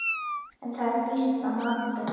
Er það býsna magnað.